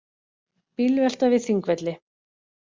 Bílvelta við Þingvelli